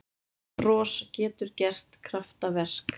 Bros getur gert kraftaverk